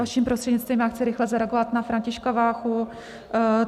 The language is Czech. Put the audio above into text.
Vaším prostřednictvím, já chci rychle zareagovat na Františka Váchu.